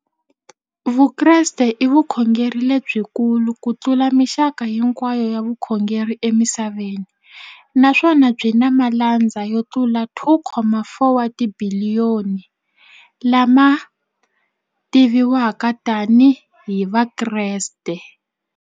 Vukreste i vukhongeri lebyi kulu kutlula mixaka hinkwayo ya vukhongeri emisaveni, naswona byi na malandza yo tlula 2.4 wa tibiliyoni, la ma tiviwaka tani hi Vakreste.